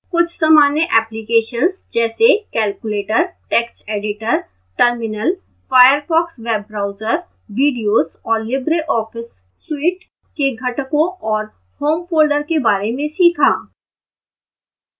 कुछ सामान्य applications जैसे calculator text editor terminal firefox web browser videos और libreoffice suite के घटकों और home folder के बारे में सीखा